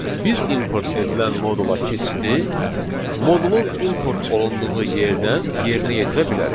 Biz import edilən modula keçidi modulun import olunduğu yerdən yerinə yetirə bilərik.